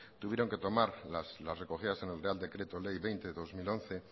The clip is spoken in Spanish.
tuvieron que tomar las recogidas en el real decreto ley veinte barra dos mil once